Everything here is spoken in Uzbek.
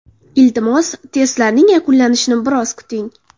Iltimos, testlarning yuklanishini biroz kuting.